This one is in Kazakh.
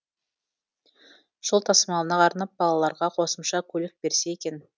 жол тасымалына арнап балаларға қосымша көлік берсе екен